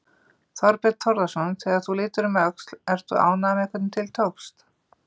Þorbjörn Þórðarson: Þegar þú lítur um öxl, ert þú ánægður með hvernig til tókst?